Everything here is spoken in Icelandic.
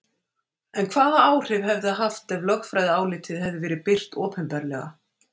En hvaða áhrif hefði það haft ef lögfræðiálitið hefði verið birt opinberlega?